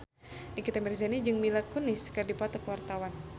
Nikita Mirzani jeung Mila Kunis keur dipoto ku wartawan